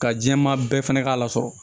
Ka jɛman bɛɛ fɛnɛ k'a la sɔrɔ